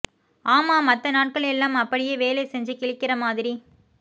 ஆமா மத்த நாட்கள் எல்லாம் அப்படியே வேலை செஞ்சு கிழிக்கிற மாதிரி